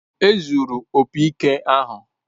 Ezuuru opi ike ahụ